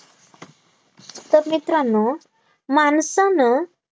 तर मित्रांनो माणसानं